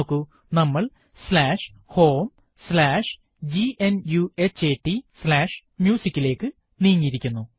നോക്കൂ നമ്മൾ homegnuhataMusic ലേക്ക് നീങ്ങിയിരിക്കുന്നു